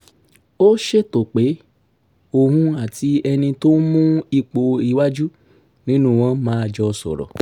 ó ṣètò pé òun àti ẹni tó ń mú ipò iwájú nínú wọn máa jọ sọ̀rọ̀